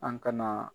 An kana